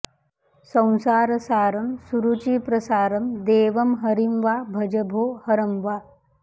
संसारसारं सुरुचिप्रसारं देवं हरिं वा भज भो हरं वा